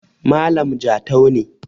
malam Jatau ne